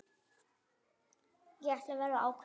Ætla verður að ákvæði